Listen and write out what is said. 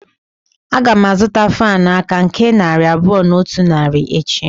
Agam azuta fan aka nke narị abuo na otu naira echi.